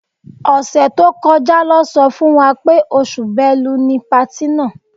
Ọ̀sẹ̀ tó kọjá lọ́ sọ fún wa pé oṣù Bẹ́lu ni patí náà.